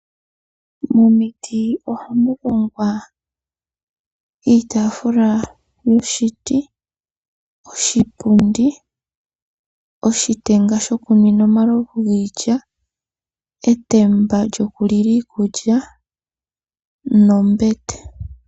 Momiti ohamu hongwa iitaafula noshiti, oshipundi, oshitenga shokunwina omalovu giilya, etemba lyoku lila iikulya nombete.